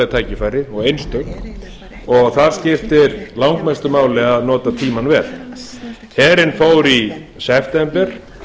tækifæri og einstök þar skiptir langmestu máli að nota tímann vel herinn fór í september